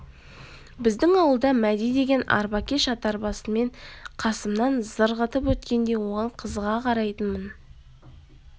біздің ауылда мәди деген арбакеш атарбасымен қасымнан зырғытып өткенде оған қызыға қарайтынмын